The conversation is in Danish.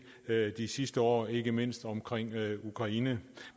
de sidste år ikke mindst omkring ukraine